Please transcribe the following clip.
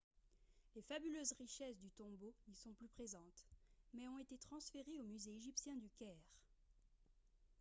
les fabuleuses richesses du tombeau n'y sont plus présentes mais ont été transférées au musée égyptien du caire